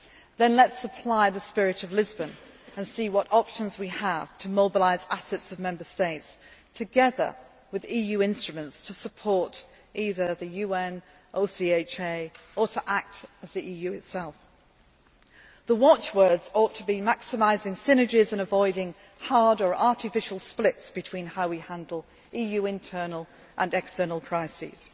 way. Then let us apply the spirit of Lisbon and see what options we have to mobilise assets of Member States together with EU instruments to support either the UN, OCHA or to act as the EU itself. The watchwords ought to be maximising synergies and avoiding hard' or artificial splits between how we handle EU internal and external